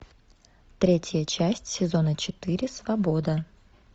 третья часть сезона четыре свобода